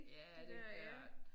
Ja er det ja